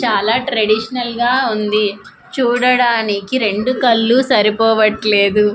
చాలా ట్రెడిషనల్ గా ఉంది చూడడానికి రెండు కళ్ళు సరిపోవట్లేదు.